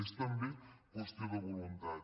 és també qüestió de voluntat